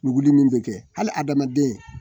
Nuguli min bɛ kɛ hali adamaden